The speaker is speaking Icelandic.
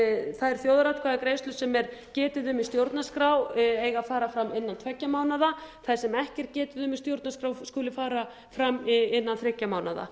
þær þjóðaratkvæðagreiðslur sem er getið um í stjórnarskrá eiga að fara fram innan tveggja mánaða þar sem ekki er getið um í stjórnarskrá skuli fara fram innan þriggja mánaða